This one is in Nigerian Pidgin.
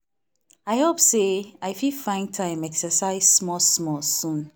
i hope say i fit find time exercise small small soon.